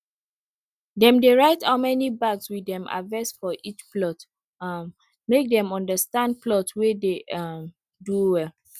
dem dey write how many bags we dem harvest for each plot um make dem take understand plot wey dey um do well